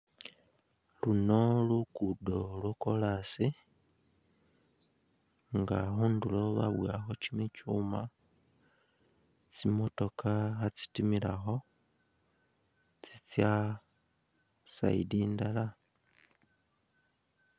Luno lukudo lwa koras nga khunduro babowakho kyimikyuma , tsi motoka kha tsitimilakho tsitsa i’side indala.